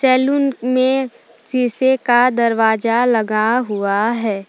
Salon में शीशे का दरवाजा लगा हुआ है।